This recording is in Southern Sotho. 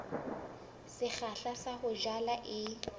sekgahla sa ho jala e